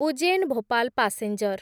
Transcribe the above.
Ujjain Bhopal passenger